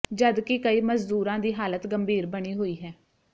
ਜਦਕਿ ਕਈ ਮਜ਼ਦੂਰਾਂ ਦੀ ਹਾਲਤ ਗੰਭੀਰ ਬਣੀ ਹੋਈ ਹੈ